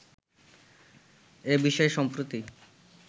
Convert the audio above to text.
এ বিষয়ে সম্প্রতি